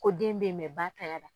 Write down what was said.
Ko den bɛ yen mɛ ba tanya la